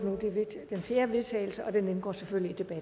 ordet